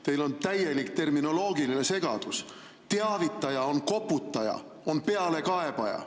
Teil on täielik terminoloogiline segadus: teavitaja on koputaja, on pealekaebaja.